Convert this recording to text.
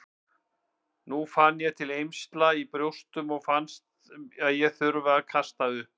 Nú fann ég til eymsla í brjóstunum og fannst ég þurfa að kasta upp.